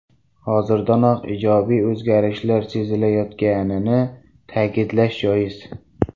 Hozirdanoq ijobiy o‘zgarishlar sezilayotganini ta’kidlash joiz.